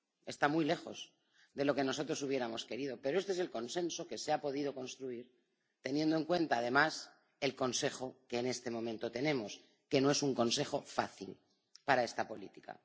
Está muy lejos de lo que nosotros hubiéramos querido, pero este es el consenso que se ha podido construir teniendo en cuenta, además, el Consejo que en este momento tenemos, que no es un Consejo fácil para esta política.